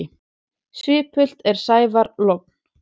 Svipult er sævar logn.